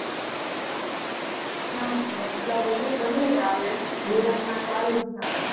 ના ના આટલા બધા તો નહીં આવે B-one તો આવી જ જશે.